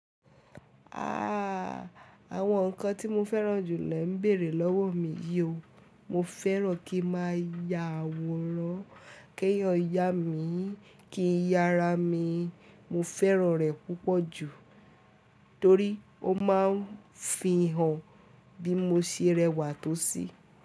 Ahhh! Àwọn nǹkan tí mo fẹ́ràn jùlọ le ń bèèrè lọ́wọ́ mi. Yóò, mo fẹ́ràn kí má ya àwòrán, kí eeyan yá mi, kí n ya ara mi. Mo fẹ́ràn rẹ̀ púpọ̀ jù torí ó máa ń fihàn bí mo ṣe rẹwà tó sí.